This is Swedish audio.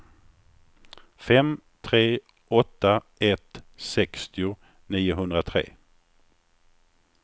fem tre åtta ett sextio niohundratre